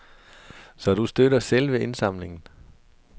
Så du støtter selve indsamlingen?